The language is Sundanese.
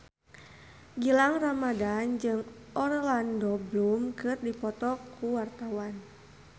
Gilang Ramadan jeung Orlando Bloom keur dipoto ku wartawan